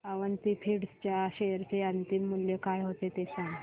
Avanti feeds च्या share चे अंतिम मूल्य काय होते ते सांगा